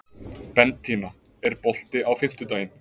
Bentína, er bolti á fimmtudaginn?